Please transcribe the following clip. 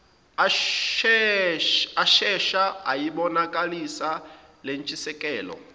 ashesha ayibonakalisa lentshisekelo